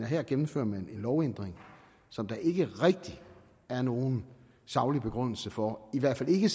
her gennemfører en lovændring som der ikke rigtig er nogen saglig begrundelse for i hvert fald ikke